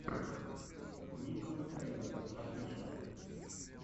никол сейнрэс офишиал